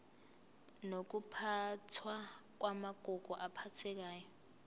nokuphathwa kwamagugu aphathekayo